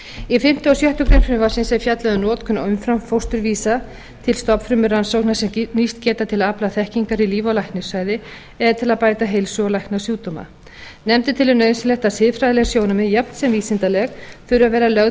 í fimmta og sjöttu greinar frumvarpsins er fjallað um notkun umframfósturvísa til stofnfrumurannsókna sem nýst geta til að afla þekkingar í líf og læknisfræði eða til að bæta heilsu og lækna sjúkdóma nefndin telur nauðsynlegt að siðfræðileg sjónarmið jafnt sem vísindaleg þurfi að vera lögð